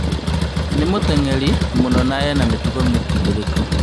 Nĩ mũteng'eri mwathaki mũno na ena mĩtugo mĩkindĩrĩku